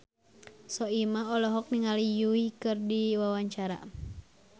Soimah olohok ningali Yui keur diwawancara